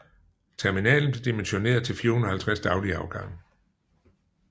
Terminalen blev dimensioneret til 450 daglige afgange